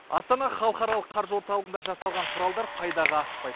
астана халықаралық қаржы орталығында жасалған құралдар пайдаға аспайды